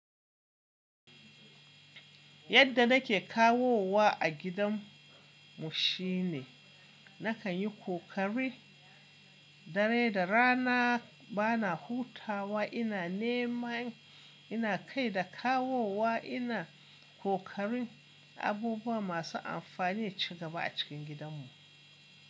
Yadda na ke kawowa a gidan mu shine na kan yi ƙoƙari dare da rana ba na hutawa. Ina nema, ina kai da kawowa, ina ƙoƙarin abubuwa masu amfani ci gaba a cikin gidan mu.